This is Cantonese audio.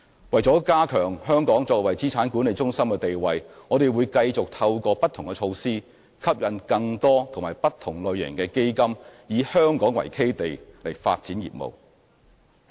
為加強香港作為資產管理中心的地位，我們會繼續透過不同措施吸引更多及不同類型的基金以香港為基地發展業務。